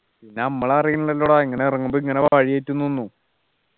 പിന്നെ നമ്മൾ അറിയുന്നില്ലല്ലോടാ ഇങ്ങനെ ഇറങ്ങുമ്പോ ഇങ്ങനെ വഴിതെറ്റും ന്നൊന്നും